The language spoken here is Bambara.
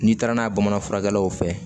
N'i taara n'a ye bamanan furakɛlaw fɛ